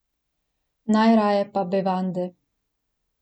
Najraje pa bevande.